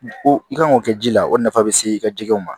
O i kan k'o kɛ ji la o nafa bɛ se i ka jikɛw ma